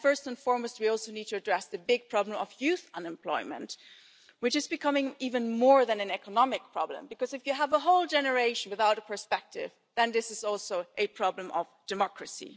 More than anything else, we also need to address the big problem of youth unemployment, which is becoming even more than an economic problem because if you have a whole generation without a perspective, this is also a problem of democracy.